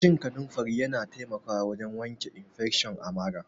Cin kanunfari Yana taimako wajen wanke infesion a marà.